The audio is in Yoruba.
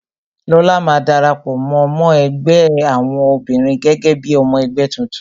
Lóla máa dara pọ, mó ẹgbẹ́ àwọn obìnrin gẹ́gẹ́ bí ọmọ ẹgbẹ́ tuntun